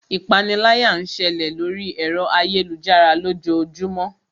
Ipániláyà ń ṣẹlẹ̀ lóri ẹ̀rọ ayélujára lójoojúmó.